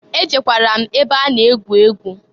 E jekwara m ebe a na egwu egwu.